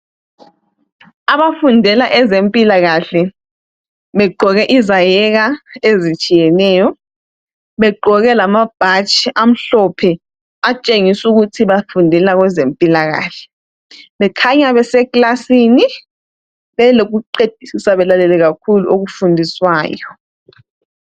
Abafundela ezempila kahle begqoke izayeka ezitshiyeneyo begqoke lamabhatshi amhlophe atshengisu ukuthi bafundela kwezempila kahle bakhanya beseclasini belokuqedisisa belalele kakhulu okufundiswayo